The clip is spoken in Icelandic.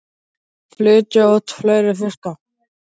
Á að flytja út fleiri fiska